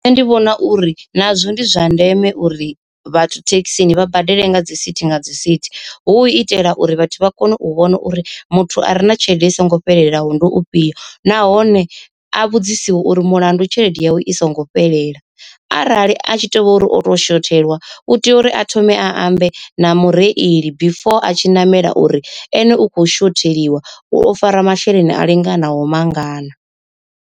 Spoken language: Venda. Nṋe ndi vhona uri nazwo ndi zwa ndeme uri vhathu thekhisini vha badele nga dzi sithi nga dzi sithi hu u itela uri vhathu vha kone u vhona uri muthu a re na tshelede i songo fhelelaho ndi ufhio. Nahone a vhudzisiwe uri mulandu tshelede yawe i songo fhelela, arali a tshi tovha uri oto shothelwa u tea uri a thome a ambe na mureili before a tshi ṋamela uri ene u kho shotheliwa u o fara masheleni a linganaho mangana.